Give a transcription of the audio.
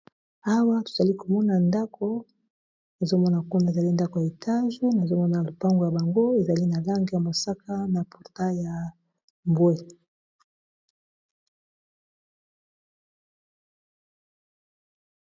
Awa tozali komona ndako nazomona kuna ezali ndako ya etage nazomona lopango yango ezali na langi ya mosaka na portail ya mbwé.